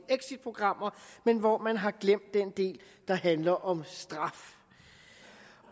exitprogrammer men hvor man har glemt den del der handler om straf